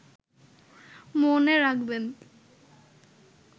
মনে রাখবেন